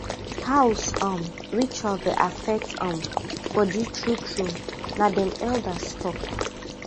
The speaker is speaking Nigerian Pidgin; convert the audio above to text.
house um ritual dey affect um body true true na dem elders talk